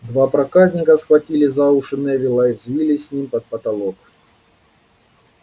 два проказника схватили за уши невилла и взвились с ним под потолок